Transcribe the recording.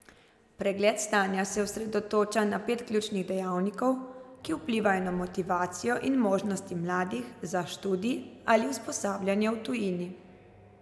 Pregled stanja se osredotoča na pet ključnih dejavnikov, ki vplivajo na motivacijo in možnosti mladih za študij ali usposabljanje v tujini.